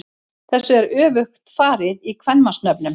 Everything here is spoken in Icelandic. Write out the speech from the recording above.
Þessu er öfugt farið í kvenmannsnöfnum.